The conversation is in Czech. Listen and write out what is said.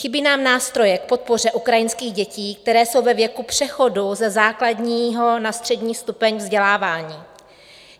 Chybí nám nástroje k podpoře ukrajinských dětí, které jsou ve věku přechodu ze základního na střední stupeň vzdělávání.